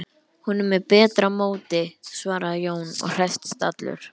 Hún er með betra móti, svaraði Jón og hresstist allur.